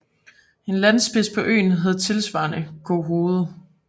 En landspids på øen hed tilsvarende Gohoved